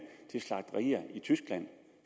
til slagterier i tyskland